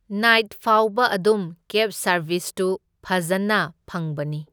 Night ꯐꯥꯎꯕ ꯑꯗꯨꯝ ꯀꯦꯕ ꯁꯔꯕꯤꯁꯇꯁꯨ ꯐꯖꯅ ꯐꯪꯕꯅꯤ꯫